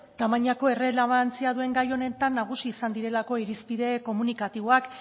tamainako errelebantzia duen gai honetan nagusi izan direlako irizpide komunikatiboak